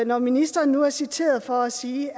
når ministeren nu er citeret for at sige